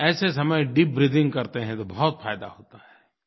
ऐसे समय deep breathing करते हैं तो बहुत फ़ायदा होता है